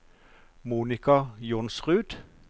Monika Johnsrud